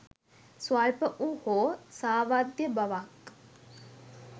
ස්වල්ප වූ හෝ සාවද්‍ය බවක්